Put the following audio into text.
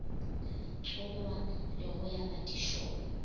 tsongwa le go ya madišong